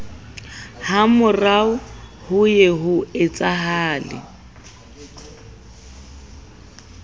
hamorao ho ye ho etsahale